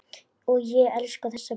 Og ég elskaði þessa plötu.